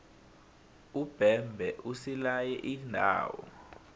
umbebhe usilaye iindawo